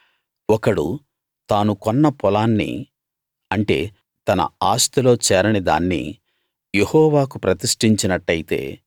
ఒకడు తాను కొన్న పొలాన్ని అంటే తన ఆస్తిలో చేరని దాన్ని యెహోవాకు ప్రతిష్ఠించినట్టయితే